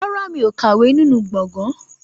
Rárá, mi ò kàwé nínú gbọ̀ngàn